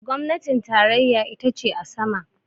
gwamnatin tarayya ita ce a sama